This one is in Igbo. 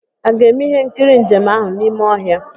A ga-eme ihe nkiri njem ahụ n'ime ọhịa?